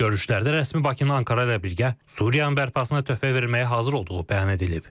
Görüşlərdə rəsmi Bakının Ankara ilə birgə Suriyanın bərpasına töhfə verməyə hazır olduğu bəyan edilib.